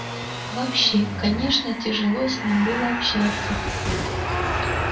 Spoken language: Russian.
вообще конечно тяжело с ним было общаться